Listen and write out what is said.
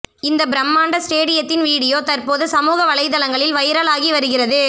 இந்த பிரமாண்ட ஸ்டேடியத்தின் வீடியோ தற்போது சமூக வலைதளங்களில் வைரலாகி வருகிறது